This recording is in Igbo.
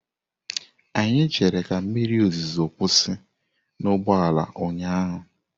Anyị chere ka mmiri ozuzo kwụsị n'ụgbọala ụnyaahụ.